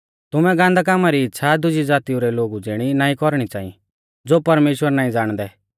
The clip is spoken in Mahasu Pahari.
तुमै गान्दै कामा री इच़्छ़ा दुज़ी ज़ातिऊ रै लोगु ज़िणी नाईं कौरणी च़ांई ज़ो परमेश्‍वर नाईं ज़ाणदै